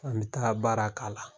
An bɛ taa baara k'a la